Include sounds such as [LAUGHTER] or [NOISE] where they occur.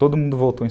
Todo mundo voltou em [UNINTELLIGIBLE]